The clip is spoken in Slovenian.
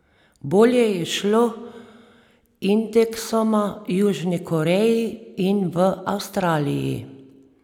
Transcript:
Bolje je šlo indeksoma Južni Koreji in v Avstraliji.